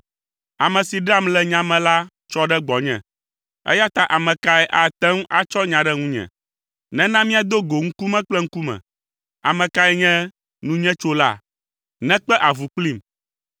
Ame si ɖeam le nya me la tsɔ ɖe gbɔnye, eya ta ame kae ate ŋu atsɔ nya ɖe ŋunye? Nena míado go ŋkume kple ŋkume! Ame kae nye nunyetsola? Nekpe avu kplim!